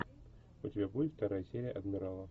у тебя будет вторая серия адмирала